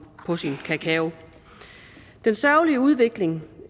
på sin kakao den sørgelige udvikling